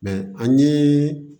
an ye